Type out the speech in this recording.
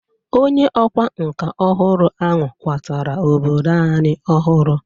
Onye ọkwa nka ọhụrụ ahụ kwatara obodo anyị ọhụrụ.